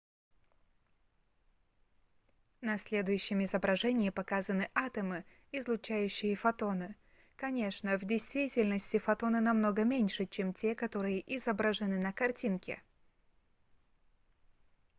на следующем изображении показаны атомы излучающие фотоны конечно в действительности фотоны намного меньше чем те которые изображены на картинке